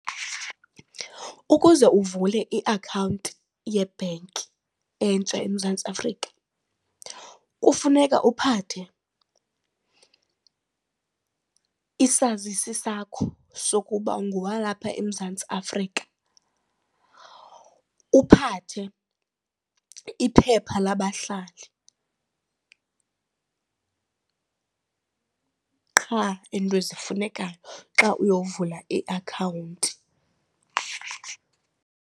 Ukuze uvule iakhawunti yebhenki entsha eMzantsi Afrika kufuneka uphathe isazisi sakho sokuba ungowalapha eMzantsi Afrika. Uphathe iphepha labahlali qha iinto ezifunekayo xa uyovula iakhawunti.